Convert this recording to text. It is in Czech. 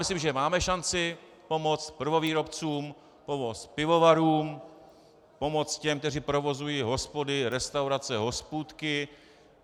Myslím, že máme šanci pomoct prvovýrobcům, pomoct pivovarům, pomoct těm, kteří provozují hospody, restaurace, hospůdky.